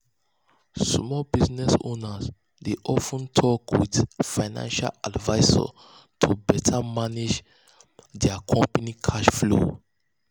small um business owners dey of ten talk with financial advisors to um better manage um better manage dia company cash flow. um